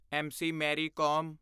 M C. Mary com